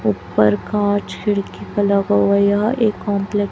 ऊपर कांच खिड़की का लगा हुआ है यह एक --